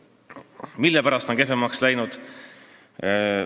Kui nii, siis mille pärast on see kehvemaks läinud?